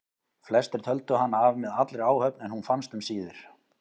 Flestir töldu hana af með allri áhöfn en hún fannst um síðir.